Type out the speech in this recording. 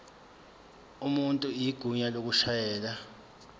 umuntu igunya lokushayela